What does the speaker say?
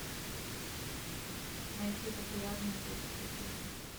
найти популярные детские фильмы